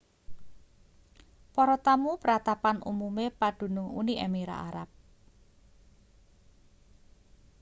para tamu pratapan umume pandunung uni emirat arab